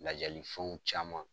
Lajalifɛnw caman